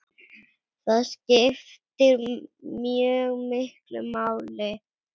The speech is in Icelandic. Það skiptir mjög miklu máli.